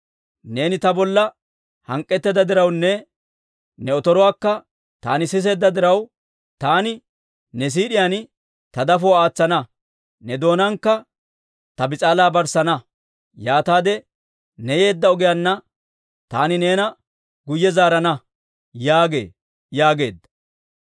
Neeni ta bolla hank'k'etteedda dirawunne, ne otoruwaakka taani siseedda diraw, Taani ne siid'iyaan ta dafuwaa aatsana; ne doonaankka ta bis'aalaa barssana. Yaataade ne yeedda ogiyaanna taani neena guyye zaarana› yaagee» yaageedda.